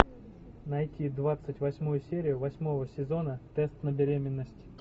найти двадцать восьмую серию восьмого сезона тест на беременность